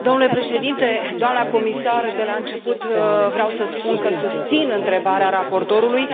Domnule președinte, doamnă comisar, de la început vreau să spun că susțin întrebarea raportorului.